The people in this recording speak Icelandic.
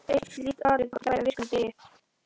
Eitt slíkt atvik átti sér stað á virkum degi.